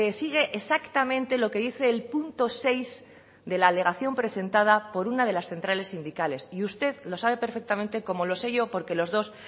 sigue exactamente lo que dice el punto seis de la alegación presentada por una de las centrales sindicales y usted lo sabe perfectamente como lo sé yo porque los dos